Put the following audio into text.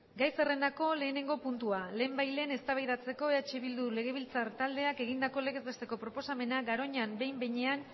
gai zerrendako lehenengo puntua lehenbailehen eztabaidatzeko eh bildu legebiltzar taldeak egindako legez besteko proposamena garoñan behin behinean